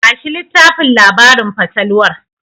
Bashi littafin labarin fatalwar.